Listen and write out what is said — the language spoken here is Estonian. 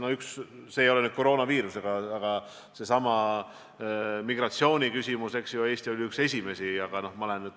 No üks asi, mis ei ole nüüd küll koroonaviirusega seotud, aga seesama migratsiooniküsimus – Eesti oli üks esimesi.